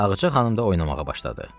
Ağca xanım da oynamağa başladı.